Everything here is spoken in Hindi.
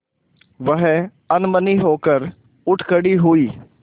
वह अनमनी होकर उठ खड़ी हुई